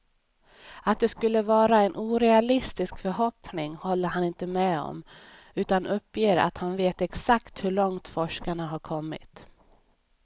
Att det skulle vara en orealistisk förhoppning håller han inte med om, utan uppger att han vet exakt hur långt forskarna har kommit.